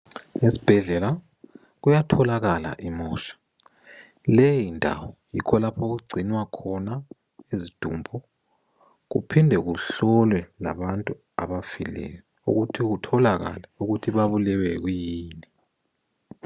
Esibhedlela kuyatholakala imosha. Leyindawo yikho okugcinwa khona izidumbu. Kuphinde kuhlolwe labantu abafileyo, ukuthi kutholakale ukuthi babulewe kuyini.